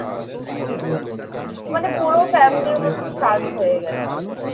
মানে পুরো family ওর শান্ত হয়ে গেছে।